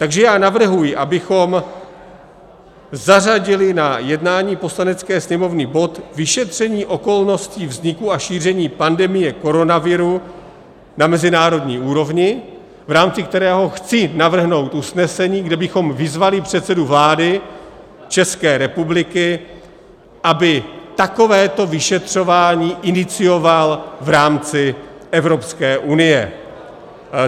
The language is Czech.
Takže já navrhuji, abychom zařadili na jednání Poslanecké sněmovny bod Vyšetření okolností vzniku a šíření pandemie koronaviru na mezinárodní úrovni, v rámci kterého chci navrhnout usnesení, kde bychom vyzvali předsedu vlády České republiky, aby takovéto vyšetřování inicioval v rámci Evropské unie.